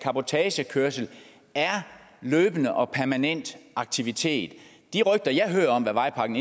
cabotagekørsel er en løbende og permanent aktivitet de rygter jeg hører om hvad vejpakken